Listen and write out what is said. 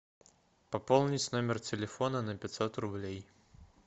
пополнить номер телефона на пятьсот рублей